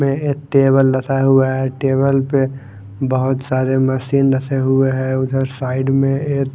में एक टेबल रखा हुआ है टेबल पे बहुत सारे मशीन रखे हुए हैं उधर साइड में एक--